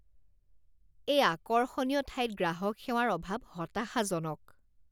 এই আকৰ্ষণীয় ঠাইত গ্ৰাহক সেৱাৰ অভাৱ হতাশাজনক।